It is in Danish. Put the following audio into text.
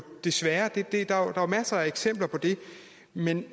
desværre masser af eksempler på det men